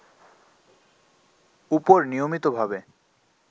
উপর নিয়মিতভাবে